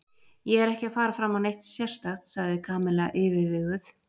Ég er ekki að fara fram á neitt sérstakt sagði Kamilla yfirveguð.